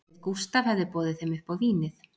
Ef Gústaf hefði boðið þeim upp á vínið